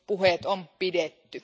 Puheet on pidetty.